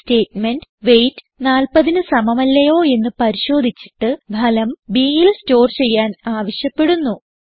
ഈ statement wait 40ന് സമമല്ലയോ എന്ന് പരിശോധിചിട്ട് ഫലം bൽ സ്റ്റോർ ചെയ്യാൻ ആവശ്യപ്പെടുന്നു